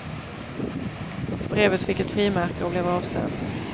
Brevet fick ett frimärke och blev avsänt.